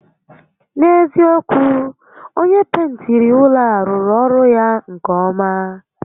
N'eziokwu, onyé pentiri ụlọ a rụrụ ọrụ ya nke ọ́má